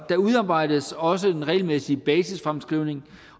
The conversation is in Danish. der udarbejdes også en regelmæssig basisfremskrivning